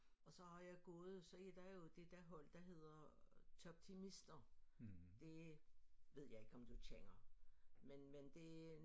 Og så har jeg gået så I der er jo det der hold der hedder Toptimister det ved jeg ikke om du kender men men det